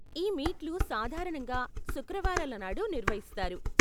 ఈ మీట్లు సాధారణంగా శుక్రవారాల నాడు నిర్వహిస్తారు.